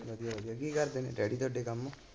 ਕੀ ਕਰਦੇ ਨੇ ਡੈਡੀ ਤੁਹਾਡੇ ਕੰਮ?